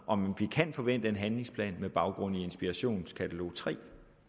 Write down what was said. om vi kan forvente en handlingsplan med baggrund i inspirationskatalog tre